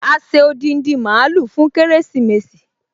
A ṣe odindi mààúlù fún kérésìmesì